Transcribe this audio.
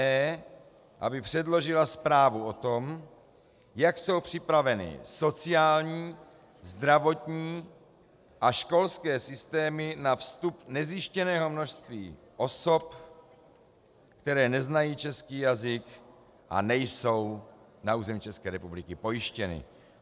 e) aby předložila zprávu o tom, jak jsou připraveny sociální, zdravotní a školské systémy na vstup nezjištěného množství osob, které neznají český jazyk a nejsou na území České republiky pojištěny.